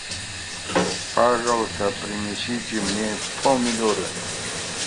пожалуйста принесите мне помидоры